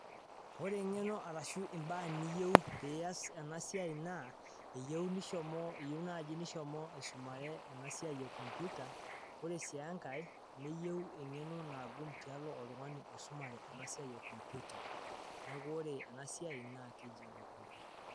Ore engeno arashuu imbaa niyeu piyaas ena siai naa eyeu naji nishomo aisumare ena siayi eee computer oree sii enkae niyeu ng'eno naagum tialo oltungani osimare ena siai ee computer neeku ore enaa siai naa keji ene computer